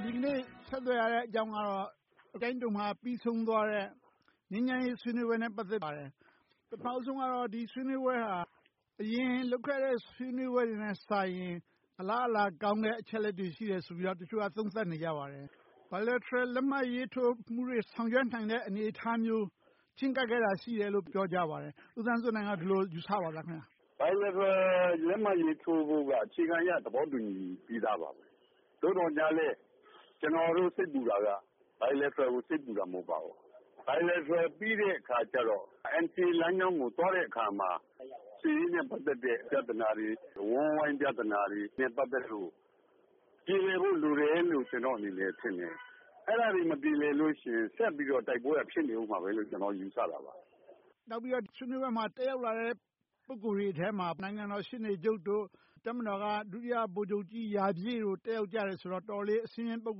ာ် ဒီနေ့ ဆက်သွယ်ရတဲ့အကြောင်းကတော့ ကျိုင်းတုံမှာ ပြီးဆုံးသွားတဲ့ ငြိမ်းချမ်းရေးဆွေးနွေးပွဲနဲ့ ပတ်သက်ပါတယ်။ ပထမဦးဆုံးကတော့ ဒီဆွေးနွေးပွဲဟာ အရင်လုပ်ခဲ့တဲ့ ဆွေးနွေးပွဲတွေနဲ့စာရင် အလားအလာကောင်းတဲ့ အချက်အလက်တွေ ရှိတယ်လို့ တချို့က သုံးသပ်နေကြပါတယ်။ bilateral လက်မှတ်ရေးထိုးမှုတွေ ဆောင်ရွက်နိုင်တဲ့ အနေအထားမျိုး ချဉ်းကပ်ခဲ့တာ ရှိခဲ့တယ်လို့ ပြောကြပါတယ်။ ဦးသန်းစိုးနိုင်က အဲဒီလို ယူဆပါသလား။ bilateral လက်မှတ်ရေးထိုးဖို့က အခြေခံအားဖြင့် သဘောတူညီပြီသားပါ။ သို့သော်လဲ ကျနော်တို့ စိတ်ပူတာက bilateral ကို စိတ်ပူတာ မဟုတ်ပါဘူး။ bilateral ပြီးတဲ့အခါကြတော့ NCA လမ်းကြောင်းကို သွားတဲ့အခါမှာ စစ်ရေးနဲ့ ပတ်သက်တဲ့ ပြဿနာတွေ၊ အဝန်းအဝိုင်းပြဿနာတွေနဲ့ ပတ်သက်လို့ ပြေလည်ဖို့ လိုတယ်လို့ ကျနော်အနေနဲ့ ထင်တယ်။ အဲဒါတွေ မပြေလည်လို့ရှိရင် ဆက်ပြီးတော့ တိုက်ပွဲက ဖြစ်နေအုံးမှာပဲလို့ ကျနော်အနေနဲ့ ယူဆပါတယ်။ နောက်ပြီးတော့ ဆွေးနွေးပွဲမှာ တက်ရောက်လာတဲ့ ပုဂ္ဂိုလ်တွေထဲမှာ နိုင်ငံတော်ရှေ့နေချုပ်၊ တပ်မတော်က ဒုတိယဗိုလ်ချုပ်ကြီးရာပြည့်တို့ တက်ရောက်ကြတယ်ဆိုတော့ အတော်လေး အဆင့်မြင့် ပုဂ္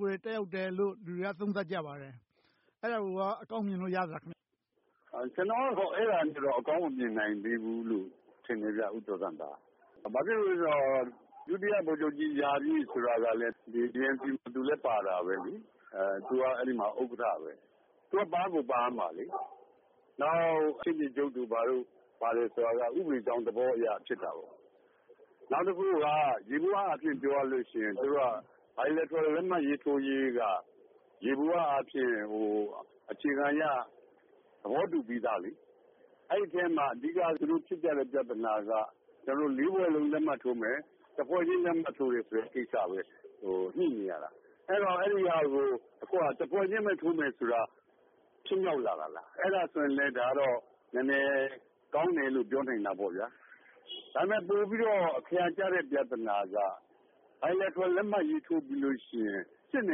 ဂိုလ်တွေ တက်ရောက်ကြတယ်လို့ လူတွေက သုံးသပ်ကြပါတယ်။ အဲဒါကိုကော အကောင်းမြင်လို့ ရပါသလား။ ကျနော်ကတော့ အဲဒါနဲ့တော့ အကောင်းမမြင်နိုင်သေးဘူးလို့ ထင်တယ်။ ဘာဖြစ်လို့လဲဆိုတော့ ဒုတိယဗိုလ်ချုပ်ကြီးရာပြည့်ဆိုတာက..ပါတယ်။ သူက အဲဒီမှာ ဥက္ကဋ္ဌ ဖြစ်တယ်။ သူက ပါကိုပါရမှာ။ နောက် ရှေ့နေချုပ်တို့ ဘာတို့ပါတယ်ဆိုတာက ဥပဒေကြောင်းသဘောအရ ဖြစ်တာ။ နောက်တခုက ယေဘုယျအားဖြင့် ပြောရမယ်ဆိုရင် bilateral လက်မှတ်ရေးထိုးရေးက ယေဘုယျအားဖြင့် အခြေခံအားဖြင့် သဘောတူပြီသာ။ အဲဒီအထဲမှာ အဓိက သူတို့ဖြစ်ကြတဲ့ ပြဿနာက လေးဖွဲ့လုံး လက်မှတ်ရေးထိုးမယ်။ တစ်ဖွဲ့ချင်း လက်မှတ်ထိုးတဲ့ ကိစ္စ ဖြစ်တယ်။ ညှိမရတာ။ အဲဒီဟာကို တဖွဲ့ချင်းပဲ ထိုးမယ်ဆိုတာ ဖြစ်မြောက်လာတာလား။ အဲဒါဆိုလဲ ဒါကနည်းနည်းကောင်းတယ်လို့ ပြောနိုင်တာပေါ့။ ဒါပေမဲ့ ပိုပြီးတော့ အခါရာကျတဲ့ ပြဿနာက bilateral လက်မှတ်ရေးထိုးပြီးလို့ရှိရင် စစ်န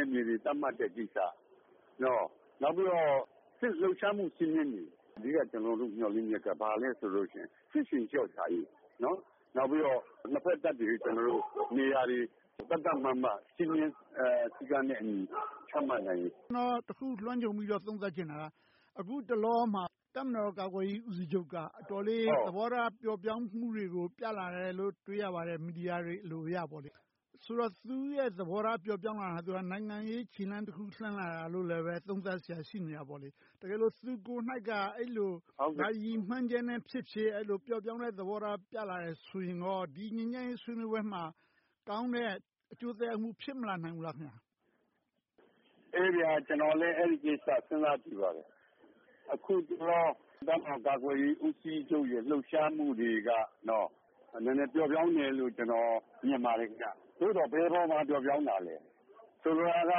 ယ်မြေတွေ သတ်မှတ်တဲ့ကိစ္စ။ နောက်ပြီးတော့ စစ်လှုပ်ရှားမှု စည်းမျဉ်းတွေကို အဓိက ကျနော်တို့ မျှော်လင့်ချက်က ဘာလဲဆိုတော့ စစ်ရှိန်လျှော့ချရေး၊ နောက်ပြီးတော့ နှစ်ဘက်တပ်တွေ နေရာတွေ သတ်သတ်မှတ်မတ်၊ စည်းမျဉ်းစည်းကမ်းနဲ့အညီ ချမှတ်နိုင်ရေး။ ကျနော် တခုလွှမ်းခြုံပြီးတော့ သုံးသပ်ချင်တာက အခုတလောမှာ တပ်မတော်ကာကွယ်ရေး ဦးစီးချုပ်က အတော်လေး သဘောထားပျော့ပျောင်းမှုတွေကို ပြလာတယ်လို့ တွေ့ရပါတယ်။ မီဒီယာတွေ အလိုအရ။ ဆိုတော့ သူ့ရဲ့သဘောထား ပျော့ပျောင်းလာတာက နိုင်ငံရေးခြေလှမ်းတခု လှမ်းလာတာလို့လဲ သုံးသပ်စရာ ရှိလာတာပေါ့။ တကယ်လို့ သူကိုယ်တိုင်က အဲဒီလို ဘာရည်မှန်းချက်နဲ့ဖြစ်ဖြစ် အဲဒီလို ပျော့ပျောင်းတဲ့သဘောထား ပြလာတယ်ဆိုရင် ဒီငြိမ်းချမ်းရေး ဆွေးနွေးပွဲမှာ ကောင်းတဲ့အကျိုးသက်ရောက်မှု ဖြစ်မလာနိုင်ဘူးလား။ ကျနော်လည်း အဲဒီကိစ္စကို စဉ်းစားကြည့်ပါတယ်။ အခုတလော တပ်မတော်ကာကွယ်ရေးဦးစီးချုပ်ရဲ့ လှုပ်ရှားမှုတွေက နည်းနည်းပျော့ပျောင်းတယ်လို့ ကျနော် မြင်ပါတယ်။ သို့သော် ဘယ်အပေါ်မှာ ပျော့ပျောင်းတာလဲ။ ဆိုလိုတာက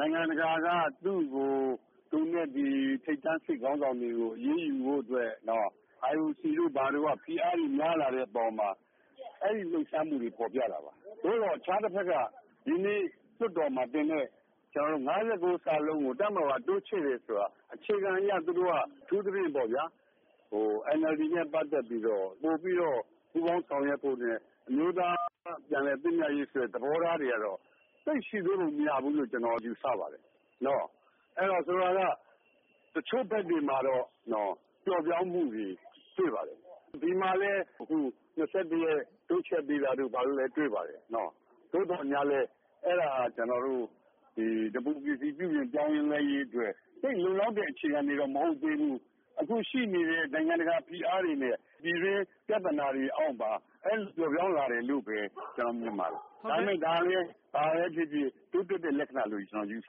နိုင်ငံတကာက သူနဲ့ထိပ်တန်း စစ်ခေါင်းဆောင်တွေကို အရေးယူဖို့အတွက် IOC တို့က ဖိအားတွေများလာတဲ့အပေါ်မှာ အဲဒီလှုပ်ရှားမှုတွေ ဖော်ပြတာပါ။ သို့သော် တခြားတဘက်က ဒီနေ့ လွှတ်တော်မှာတင်တဲ့ ၅၉ ကို တပ်မတော်က တိုးချဲ့တယ်ဆိုတာ အခြေခံအရ သူတို့က အထူးသဖြင့် အန်အယ်လ်ဒီနဲ့ ပတ်သက်ပြီးတော့ ပိုပြီးတော့ ပူးပေါင်းဆောင်ရွက်မှုနဲ့ အမျိုးသားပြန်လည်သင့်မြတ်ရေးဆိုတဲ့ သဘောထားတွေကတော့ သိပ်ရှေ့တိုးပုံမရဘူးလို့ ကျနော် ယူဆပါတယ်။ ဆိုလိုတာက တချို့ဘက်တွေမှာတော့ ပျော့ပျောင်းမှုတွေ တွေ့ပါတယ်။ ဒီမှာလဲ ရက် တိုးချဲ့ပေးတာတို့ ဘာတို့လည်း တွေ့ပါတယ်။ သို့သော်ငြားလဲ အဲဒါက ဒီမိုကရေစီ ပြုပြင်ပြောင်းလဲရေးအတွက် သိပ်လုံလောက်တဲ့ အခြေခံတွေတော့ မဟုတ်သေးဘူး။ အခုရှိနေတဲ့ နိုင်ငံတကာဖိအားတွေနဲ့ ပြည်တွင်းပြဿနာတွေအောက်မှာ ပျော့ပျောင်းလာတယ်လို့ပဲ ကျနော်မြင်ပါတယ်။ ဒါပေမဲ့ ဘာပဲဖြစ်ဖြစ် တိုးတက်တဲ့လက္ခဏာလို့ ကျနော် ယူဆ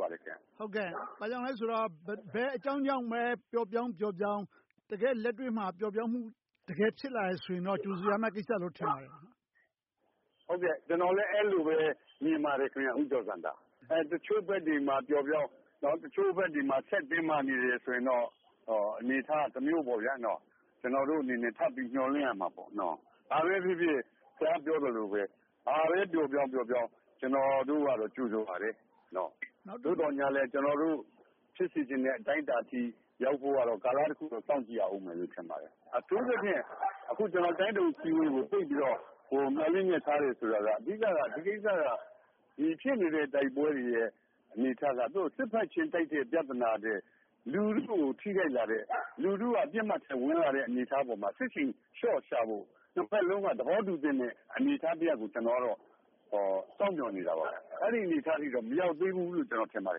ပါတယ်။ ဘာကြောင့်လဲဆိုတော့ ဘယ်အကြောင်းကြောင့်ပဲ ပျော့ပျောင်းပျော့ပျောင်း၊ တကယ့်လက်တွေ့မှာ ပျော့ပျောင်းမှု တကယ်ဖြစ်လာရင်တော့ ကြိုဆိုရမယ့်ကိစ္စလို့ ထင်ပါတယ်။ ကျနော်လည်း အဲဒီလိုပဲ မြင်ပါတယ်။ တချို့ဘက်တွေမှာ ပျော့ပျောင်း၊ တချို့ဘက်တွေမှာ ဆက်တင်းမာနေတယ်ဆိုရင်တော့ အနေအထားကတမျိုးပေါ့။ ကျနော်တို့အနေနဲ့ ထပ်ပြီးမျှော်လင့်ရမှာပေါ့။ ဘာပဲဖြစ်ဖြစ် ဘာပဲပျော့ပျောင်းပျော့ပျောင်း ကျနော်တို့က ကြိုဆိုပါတယ်။ သို့သော်ငြားလဲ ကျနော်တို့ ဖြစ်စေချင်တဲ့ အတိုင်းအတာအထိ ရောက်ဖို့ကတော့ ကာလတခုကို စောင့်ကြည့်ရအုံးမယ် ထင်ပါတယ်။ အထူးသဖြင့် ကျနော် ကျိုင်းတုံအစည်းအဝေးကို သိပ်ပြီးတော့ မျှော်လင့်ချက်ထားတယ်ဆိုတာက အဓိက ဒီကိစ္စက အခုဖြစ်နေတဲ့ တိုက်ပွဲတွေရဲ့ အနေအထားက စစ်ဘက်ချင်းတိုက်တဲ့ ပြဿနာထက် လူထုကို ထိခိုက်လာတဲ့၊ လူထုက ပစ်မှတ်ထဲဝင်ရောက်လာတဲ့ အနေအထားမှာ စစ်ရှိန်လျှော့ချဖို့ နှစ်ဘက်လုံးက သဘောတူသင့်တဲ့ အနေအထားတရပ်ကို ကျနော်ကတော့ စောင့်မျှော်နေတာပါ။ အဲဒီအနေအထားအထိတော့ မရောက်သေးဘူးလို့ ကျနော်ထင်ပါတ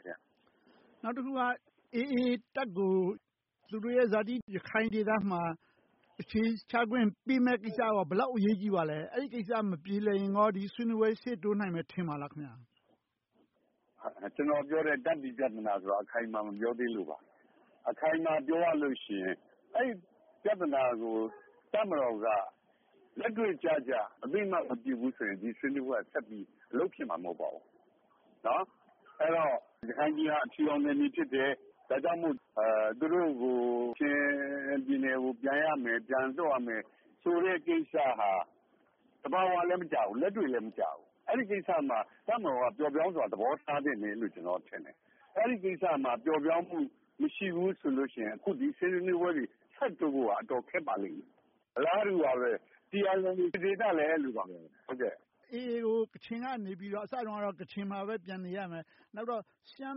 ယ်။ နောက်တခုက အေအေတပ်ကို သူတို့ရဲ့ဇာတိ ရခိုင်ဒေသမှာ အခြေချခွင့်ပေးမယ့်ကိစ္စက ဘယ်လောက်အရေးကြီးပါသလဲ။ အဲဒီကိစ္စ မပြေလည်ရင် ဒီဆွေးနွေးပွဲ ရှေ့တိုးနိုင်မယ် ထင်ပါသလား။ ကျနော်ပြောတဲ့ တပ်တွေပြဿနာကို အခိုင်အမာ မပြောသေးလို့ပါ။ အခိုင်အမာပြောရလို့ရှိရင် အဲဒီပြဿနာကို တပ်မတော်က လက်တွေ့ကျကျ၊ အသိအမှတ် မပြုဘူးဆိုရင် ဒီဆွေးနွေးပွဲက ဆက်ပြီးလုပ်ဖြစ်မှာ မဟုတ်ပါဘူး။ အဲဒီတော့ ရခိုင်ပြည်နယ်ဟာ အဖြူရောင်နယ်မြေ ဖြစ်တယ်။ ဒါကြောင့်မို့ သူတို့ကို ကချင်ပြည်နယ်ကို ပြန်ရမယ်၊ ပြန်လွှတ်ရမယ် ဆိုတဲ့ကိစ္စဟာ သဘာဝလည်း မကျဘူး။ လက်တွေ့လည်း မကျဘူး။ အဲဒီကိစ္စမှာ တပ်မတော်က ပျော့ပျောင်းစွာ သဘောထားသင့်တယ်လို့ ကျနော်ထင်တယ်။ အဲဒီကိစ္စမှာ ပျော့ပျောင်းမှု မရှိဘူးဆိုလို့ရှိရင် အခု ဒီဆွေးနွေးပွဲတွေ ဆက်တိုးဖို့က အတော်ခက်ပါလိမ့်မယ်။ အလားတူပါပဲ TNLA ဒေသလည်း အဲဒီလိုပါပဲ။ အေအေကို ကချင်က အစတုန်းကတော့ ကချင်မှာပဲ ပြန်နေရမယ်။ နောက်တော့ ရှမ်း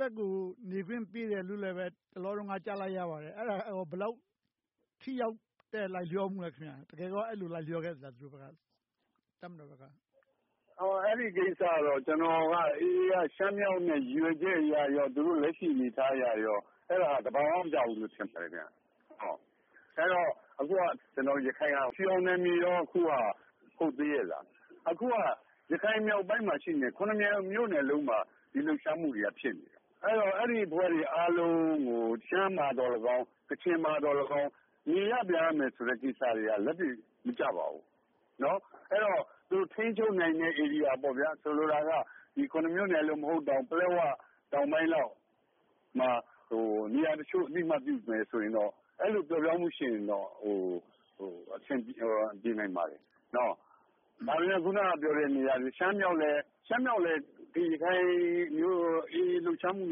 ဘက်ကို နေခွင့်ပေးတယ်လို့လဲ တလောကတုန်းက ကြားလိုက်ရပါတယ်။ ဘယ်လောက်ထိရောက်တဲ့ လိုက်လျောမှုလား - တကယ်ကော အဲဒီလိုလိုက်လျောခဲ့သလား။ အဲဒီကိစ္စတော့ ကျနော်က အေအေ က ရှမ်းမြောက်နဲ့ ရည်ရွယ်ချက်အရ၊ သူတို့လက်ရှိ အနေအထားအရရော အဲဒါသဘာဝမကျဘူးလို့ ထင်ပါတယ်။ အဲဒီတော့ အခုက အဖြူရောင်နယ်မြေကော ဟုတ်သေးရဲ့လား။ အခုက ရခိုင်မြောက်ပိုင်းမှာ ရှိနေတဲ့ မြို့နယ်လုံးမှာ စစ်လှုပ်ရှားမှုတွေက ဖြစ်နေတယ်။ အဲဒီအဖွဲ့တွေအားလုံးကို ရှမ်းမှာသော်လည်းကောင်း၊ ကချင်မှာသော်လည်းကောင်း နေရပ်ပြန်ရမယ်ဆိုတဲ့ ကိစ္စရပ်တွေ လက်တွေ့မကျပါဘူး။ အဲဒီတော့ သူတို့ထိန်းချုပ်နိုင်တဲ့ ဧရိယာ - ဆိုလိုတာက မြို့နယ်လုံး မဟုတ်တာ၊ ပလက်ဝ တောင်ပိုင်းလောက်မှာ နေရာတချို့ အသိအမှတ်ပြုမယ်ဆိုရင်တော့ အဲဒီလို ပျော့ပျောင်းမှုရှိရင်တော့ အဆင်ပြေနိုင်ပါတယ်။ ဒါပေမဲ့ အခုနပြောတဲ့ ရှမ်းမြောက်လည်း အေအေ လှုပ်ရှားမှု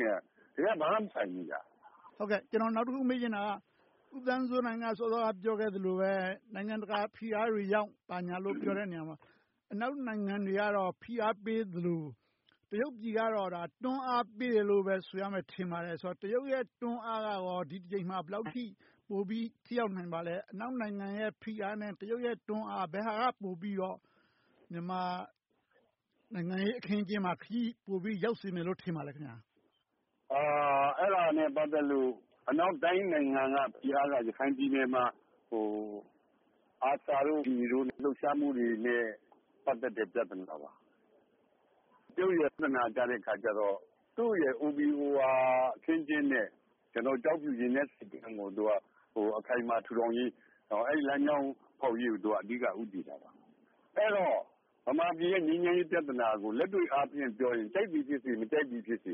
နဲ့ တကယ်တမ်းတော့ ဘာမှမဆိုင်ဘူး။ နောက်တခု မေးချင်တာက ဦးသန်းစိုးနိုင် စောစောက ပြောခဲ့သလိုပဲ နိုင်ငံတကာဖိအားတွေကြောင့် ဘာညာလို့ ပြောတဲ့နေရာမှာ အနောက်နိုင်ငံတွေကတော့ ဖိအားပေးသလို၊ တရုတ်ပြည်ကတော့ တွန်းအားပေးတယ်လို့ပဲ ဆိုရမယ်ထင်ပါတယ်။ ဆိုတော့ တရုတ်ရဲ့ တွန်းအားကရော ဒီတကြိမ်မှာ ပိုပြီးထိရောက်နိုင်ပါလဲ။ အနောက်နိုင်ငံတွေရဲ့ ဖိအားနဲ့ တရုတ်ရဲ့ တွန်းအား - ဘယ်ဟာက ပိုပြီးတော့ မြန်မာနိုင်ငံရေးအခင်းအကျင်းမှာ ပိုပြီးခရီးရောက်စေမယ်လို့ ထင်ပါသလား။ အဲဒါနဲ့ ပတ်သက်လို့ အနောက်တိုင်းနိုင်ငံကကြားတာက ရခိုင်ပြည်နယ်မှာ ARSA, AA တို့ လှုပ်ရှားမှုတွေနဲ့ ပတ်သက်တဲ့ ပြဿနာပါ။ တရုတ်ရဲ့ OBOR အခင်းအကျင်းနဲ့ ကျောက်ဖြူရေနက်ဆိပ်ကမ်းကို အခိုင်အမာ ထူထောင်ရေး - အဲဒီလမ်းကြောင်းဖောက်ရေးကို အဓိက ဦးတည်တာပါ။ အဲဒီတော့ ဗမာပြည်ရဲ့ ငြိမ်းချမ်းရေးပြဿနာကို လက်တွေ့အားဖြင့်ပြောရင် ကြိုက်သည်ဖြစ်စေ၊ မကြိုက်သည်ဖြစ်စေ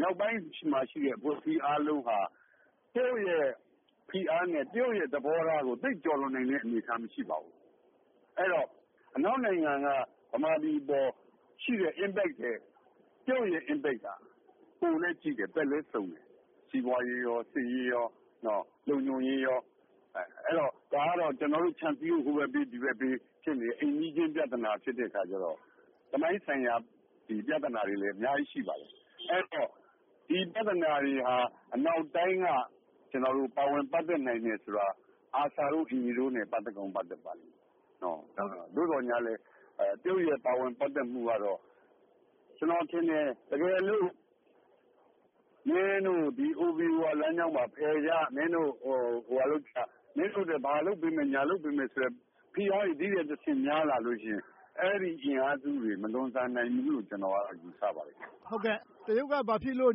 မြောက်ပိုင်းမှာရှိတဲ့ အဖွဲ့အစည်းအားလုံးဟာ တရုတ်ရဲ့ ဖိအားနဲ့ တရုတ်ရဲ့ သဘောထားကို သိပ်ကျော်လွှန်နိုင်တဲ့ အနေအထားမရှိပါဘူး။ အဲဒီတော့ အနောက်နိုင်ငံက ဗမာပြည်အပေါ်ရှိတဲ့ ထိရောက်မှုနဲ့ တရုတ်ရဲ့ ထိရောက်မှုက ပိုလိမ့်စုံတယ် - စီးပွားရေး၊ စစ်ရေး၊ လုံခြုံရေး။ ဒါကတော့ ကျနော်တို့ ခြံစည်းရိုး ဟိုဘက်ဘေး၊ ဒီဘက်ဘေး ဖြစ်နေတဲ့ အိမ်နီးနားချင်း ပြဿနာ ဖြစ်တဲ့အခါကြတော့ သမိုင်းဆိုင်ရာ ပြဿနာတွေလည်း အများကြီး ရှိပါတယ်။ အဲဒီတော့ ဒီပြဿနာတွေဟာ အနောက်တိုင်းက ပါဝင်ပတ်သက်နိုင်တယ်ဆိုတာ ARSA, AA တို့နဲ့ ပတ်သက်ကောင်း ပတ်သက်ပါတယ်။ သို့သော်ငြားလဲ တရုတ်ရဲ့ ပါဝင်ပတ်သက်မှုကတော့ ကျနော်ထင်တယ် တကယ်လို့ မင်းတို့ ဒီ OBOR လမ်းကြောင်းမှာ ဖယ်ကြ၊ မင်းတို့ဟိုဟာလုပ်ကြ၊ မင်းတို့အတွက် ဘာလုပ်ပေးမယ်၊ ညာလုပ်ပေးမယ် ဖိအားတွေ ဒီထက်တဆင့် များလာလို့ရှိရင် အဲဒီအင်အားစုတွေ မလွန်ဆန်နိုင်ဘူးလို့ ကျနော်က ယူဆပါတယ်။ တရုတ်က ဘာဖြစ်လို့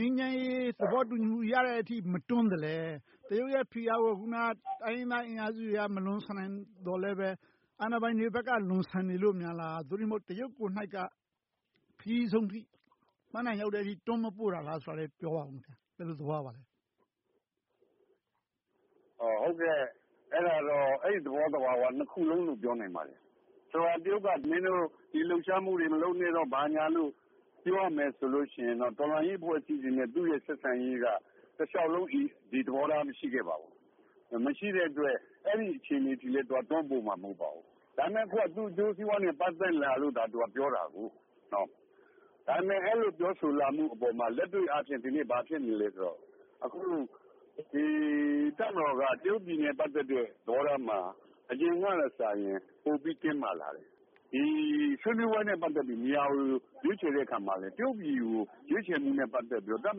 ငြိမ်းချမ်းရေး သဘောတူညီမှုရတဲ့အထိ မတွန်းသလဲ။ တရုတ်ရဲ့ ဖိအားကို အခုန တိုင်းရင်းသားအင်အားစုတွေက မလွန်ဆန်နိုင်သော်လဲပဲ အာဏာပိုင်တွေဘက်က လွန်ဆန်နေလို့များ။ သို့တည်းမဟုတ် တရုတ်ကိုယ်တိုင်က ခရီးဆုံးအထိ ပန်းတိုင်ရောက်တဲ့အထိ တွန်းမပို့တာများဆိုတာကို ပြောပါ။ ဘယ်လိုသဘောရပါလဲ။ အဲဒီသဘောသဘာဝ နှစ်ခုစလုံးလို့ ပြောနိုင်ပါတယ်။ တရုတ်က မင်းတို့ ဒီလှုပ်ရှားမှုတွေ မလုပ်နဲ့။ ဘာညာလို့ ပြောရမယ်ဆိုရင် တော်လှန်ရေးအဖွဲ့အစည်းတွေနဲ့ သူရဲ့ ဆက်ဆံရေးက တလျှောက်လုံး ဒီသဘောထား မရှိခဲ့ပါဘူး။ မရှိတဲ့အတွက် အဲဒီအခြေအနေအထိလဲ သူက တွန်းပို့မှာ မဟုတ်ပါဘူး။ ဒါပေမဲ့ အခုက သူ့အကျိုးစီးပွားနဲ့ ပတ်သက်လာလို့သာ သူက ပြောတာဖြစ်တယ်။ ဒါပေမဲ့ အဲဒီလို ပြောဆိုလာမှုအပေါ်မှာ လက်တွေ့အားဖြင့် ဘာဖြစ်နေလဲဆိုတော့ တပ်မတော်က တရုတ်ပြည်နဲ့ ပတ်သက်တဲ့ သဘောထားက အရင်ကထက်စာရင် ပိုပြီးတင်းမာလာတယ်။ ဆွေးနွေးပွဲနဲ့ ပတ်သက်ပြီး နေရာကို ရွေးချယ်တဲ့အခါမှာလဲ တရုတ်ပြည်ကို ရွေးချယ်မှုနဲ့ ပတ်သက်ပြီး တပ်မ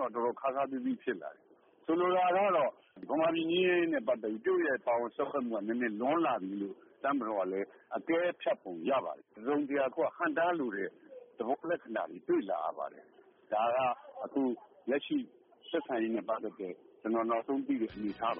တော်က တော်တော်ခါးခါးသည်းသည်း ဖြစ်လာတယ်။ ဆိုလိုတာကတော့ ဗမာပြည် ငြိမ်းချမ်းရေးနဲ့ ပတ်သက်ပြီး တရုတ်ရဲ့ ပါဝင်စွက်ဖက်မှုက နည်းနည်းလွန်လာပြီလို့ တပ်မတော်ကလည်း အကဲဖြတ်ပုံရပါတယ်။ တစုံတရာ ဟန့်တားလိုတဲ့ သဘောလက္ခဏာတွေ တွေ့လာရပါတယ်။ ဒါက အခုလက်ရှိ ဆက်ဆံရေးနဲ့ ပတ်သက်လို့ ကျနော် နောက်ဆုံးသိတဲ့ အနေအထားပ